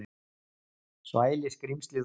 Svæli skrímslið út.